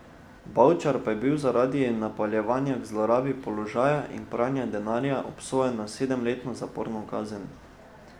Bavčar pa je bil zaradi napeljevanja k zlorabi položaja in pranja denarja obsojen na sedemletno zaporno kazen.